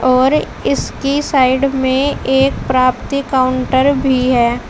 और इसकी साइड में एक प्राप्ति काउंटर भी है।